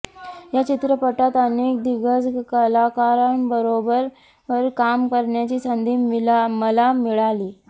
या चित्रपटात अनेक दिग्गज कलाकारांबरोबर काम करण्याची संधी मला मिळाली